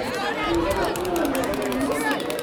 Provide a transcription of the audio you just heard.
Na gwĩthema kuumana na mathĩna ma mwĩrĩ